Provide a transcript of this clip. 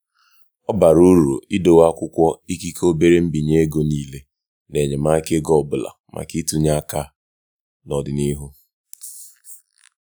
ọ bara uru idowe akwụkwọ ikike obere mbinye ego niile na enyemaka ego ọbụla maka ntụnye aka n'ọdịnihu.